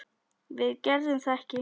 Við gerðum það ekki.